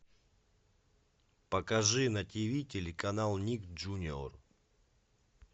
покажи на ти ви телеканал ник джуниор